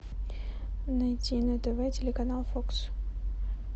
найти на тв телеканал фокс